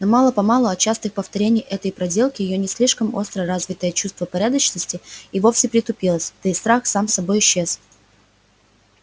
но мало-помалу от частых повторений этой проделки её не слишком остро развитое чувство порядочности и вовсе притупилось да и страх сам собой исчез